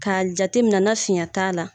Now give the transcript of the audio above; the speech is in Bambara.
K'a jateminɛ ni finya t'a la